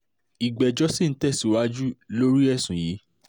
ìgbẹ́jọ́ sì ń tẹ̀síwájú lórí ẹ̀sùn yìí